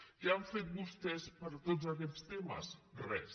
què han fet vostès per tots aquests temes res